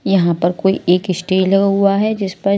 यहां पर कोई एक स्टेज लगा हुआ है जिस पर--